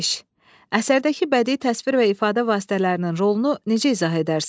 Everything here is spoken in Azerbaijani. Əsərdəki bədii təsvir və ifadə vasitələrinin rolunu necə izah edərsiz?